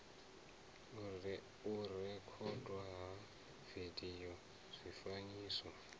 u rekhodwa ha vidio zwifanyiso